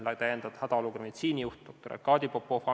Lisaks on ametis olnud hädaolukorra meditsiinijuht doktor Arkadi Popov.